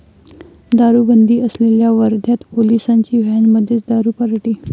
दारुबंदी असलेल्या वर्ध्यात पोलिसांची व्हॅनमध्येच दारू पार्टी